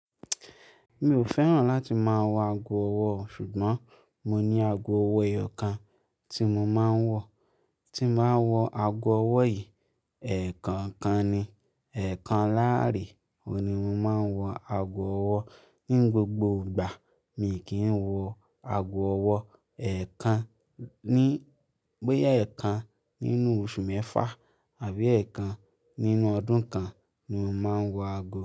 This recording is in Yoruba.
Mi ò fẹ́ràn láti máa wọ ago ọwọ́ ṣùgbọ́n mo ní ago ọwọ́ ẹyọ kan tí mo máa ń wọ. Tí mo máa ń wọ ago ọwọ́ yìí, ẹ̀ẹ̀kan kan ni, ẹ̀ẹ̀kan láàárẹ òní mo máa ń wọ ago ọwọ́. Nínú gbogbo ìgbà mi kì í wọ ago ọwọ́ ẹ̀ẹ̀kan ní, bóyá ẹ̀ẹ̀kan nínú oṣù mẹ́fà àbí ẹ̀ẹ̀kan nínú ọdún kan ni mo máa ń wọ ago.